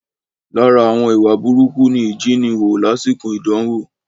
Lára àwọn ìwà burúkú ni ìjíniwò lásìkò idanwo